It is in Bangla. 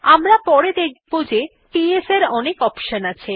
আমরা পরে দেখব যে পিএস এর অনেক অপশন আছে